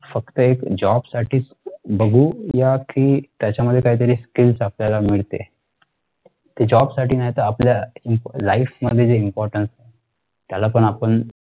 फक्त एक job साठीच बघू या कि त्याच्यामध्ये काहीतरी skills आपल्याला मिळते. ते job साठी नाही तर आपल्या life मध्ये जे importance त्याला पण आपण